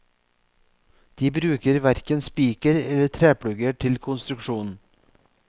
De bruker verken spiker eller treplugger til konstruksjonen.